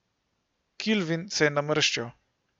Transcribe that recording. Kilvin se je namrščil.